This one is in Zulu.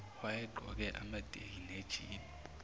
owayegqoke amateki nejini